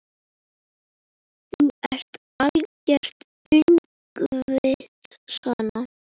Þú ert algert öngvit svona!